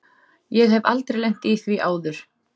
Ég hef aldrei lent í því áður.